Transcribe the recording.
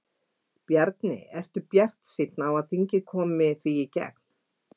Bjarni, ertu bjartsýnn á að þingið komi því í gegn?